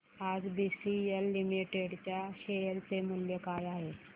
आज BCL limited च्या share चे मूल्य काय आहे